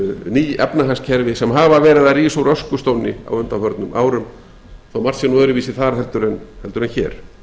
ný efnahagskerfi sem hafa verð að rísa úr öskustónni á undanförnum árum þó margt sé nú öðruvísi þar heldur en hér